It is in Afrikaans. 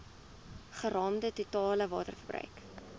geraamde totale waterverbruik